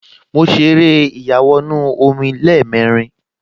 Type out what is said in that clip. Mo ṣeré ìyàwọnù-omi lẹ́ẹ̀mẹrin